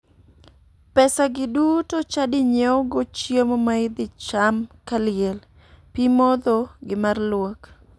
Pesagi duto chadi nyiewogo chiemo ma idhi cham kaliel, pii modho gi mar luok.